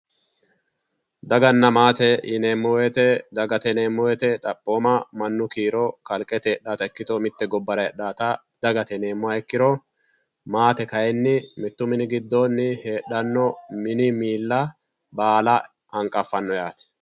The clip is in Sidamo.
daganna maatete yineemmo woyiite dagate yineemmo woyiite xaphooma mannu kiiro kalqete heedhawoota ikkito mitte gobbara heedhawoota dagate yineemmoha ikkiro maate kayiinni mittu mini giddoonni heedhanno miilla baala hanqaffanno yaate